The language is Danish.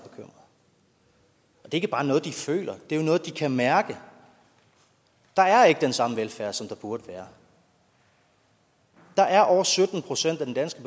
ikke bare noget de føler det er noget de kan mærke der er ikke den samme velfærd som der burde være der er over sytten procent af den danske